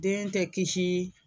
Den tɛ kisi